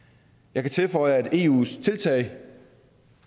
jeg kan tilføje at eus tiltag